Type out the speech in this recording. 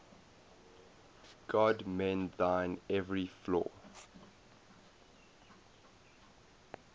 god mend thine every flaw